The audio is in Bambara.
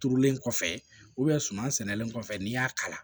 Turulen kɔfɛ suman sɛnɛlen kɔfɛ n'i y'a kalan